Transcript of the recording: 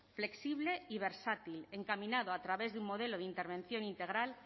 flexible y versátil encaminado a través de un modelo de intervención integral